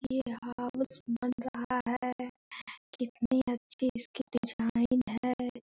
ये हाउस बन रहा है। कितनी अच्छी इसकी डिजाइन है।